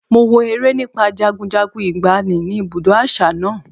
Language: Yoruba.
Mo wo eré nípa jagunjagun ìgbàanì ni ibùdó àṣà náà.